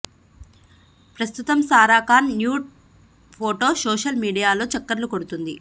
ప్రస్తుతం Sara Khan nude photo social మీడియాలో చక్కర్లు కొడుతోంది